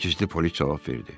Gizli polis cavab verdi.